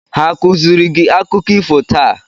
Ha a kụziiri gị akụkọ ifo taa?